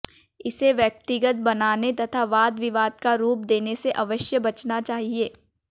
इसे व्यक्तिगत बनाने तथा वाद विवाद का रूप देने से अवश्य बचना चाहिए